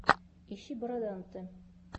ищи бороданте